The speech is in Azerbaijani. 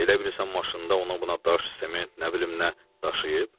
Elə bilirsən maşında ona-buna daş, sement, nə bilim nə daşıyıb?